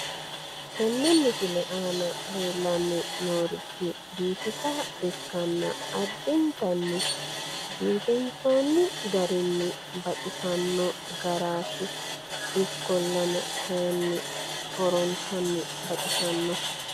Tenne misile aana leellanni noorichi biifisa ikkanna addintanni biifinsoonni garinni baxisanno garaati. Ikkollana kayinni horontanni baxisanno.